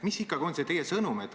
Mis on ikkagi teie sõnum?